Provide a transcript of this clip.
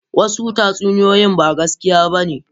Wasu tatsuniyoyi ba gaskiya ba ne.